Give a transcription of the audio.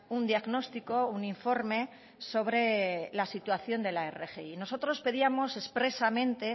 un diagnóstico un informe sobre la situación de la rgi nosotros pedíamos expresamente